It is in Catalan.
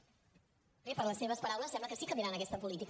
bé per les seves paraules sembla que sí que canviaran aquesta política